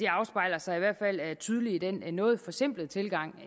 det afspejler sig i hvert fald tydeligt i den noget forsimplede tilgang